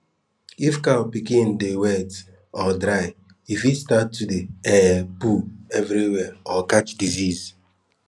if cow pikin dey wet or dry e fit start to dey um poop everywhere or catch disease